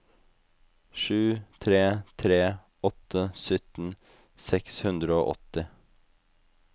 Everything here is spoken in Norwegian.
sju tre tre åtte sytten seks hundre og åtti